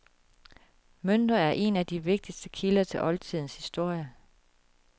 Mønter er en af de vigtigste kilder til oldtidens historie.